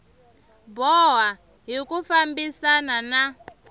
boha hi ku fambisana na